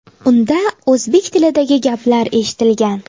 Unda o‘zbek tilidagi gaplar eshitilgan.